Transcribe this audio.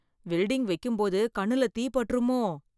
Welding வைக்கும்போது கண்ணில் தீ பட்டுருமோ?